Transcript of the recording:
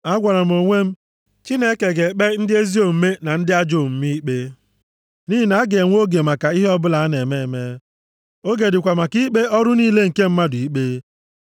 A gwara m onwe m, “Chineke ga-ekpe, ndị ezi omume na ndị ajọ omume ikpe, nʼihi na a ga-enwe oge maka ihe ọbụla a na-eme eme, oge dịkwa maka ikpe ọrụ niile nke mmadụ ikpe.”